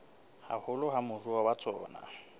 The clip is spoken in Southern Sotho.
haholo ke moruo wa tsona